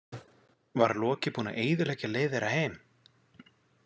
Var Loki búinn að eyðileggja leið þeirra heim?